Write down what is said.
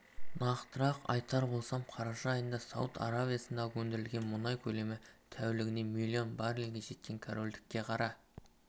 нақтырақ айтар болсақ қараша айында сауд арабиясындағы өндірілген мұнай көлемі тәулігіне млн баррельге жеткен корольдікте қара